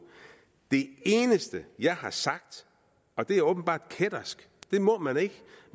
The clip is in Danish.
det eneste jeg har sagt og det er åbenbart kættersk det må man ikke